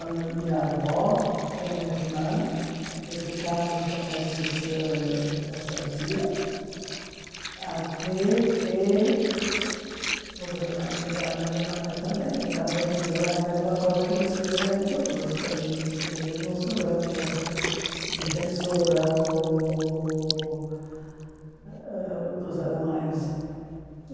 onde minha avó tinha uma irmã, e ficamos com essas ãh essa tia, até que os alemães chegaram na Alemanha também, e também fizeram a mesma coisa que eles fizeram em todos os países, quer dizer, não sou grande defensora ô dos alemães.